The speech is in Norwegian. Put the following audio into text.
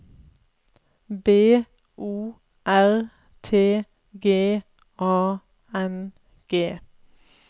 B O R T G A N G